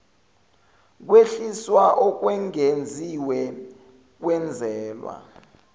kwehliswa okwengeziwe kwenzelwa